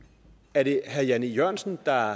er det herre jan e jørgensen der